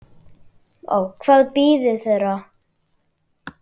Hvað bíður þeirra?